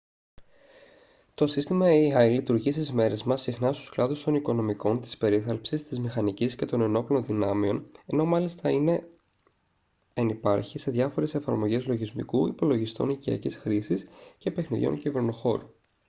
το σύστημα ai λειτουργεί στις μέρες μας συχνά στους κλάδους των οικονομικών της περίθαλψης της μηχανικής και των ενόπλων δυνάμεων ενώ μάλιστα είναι ενυπάρχει σε διάφορες εφαρμογές λογισμικού υπολογιστών οικιακής χρήσης και παιχνιδιών κυβερνοχώρου